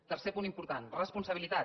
tercer punt important responsabilitat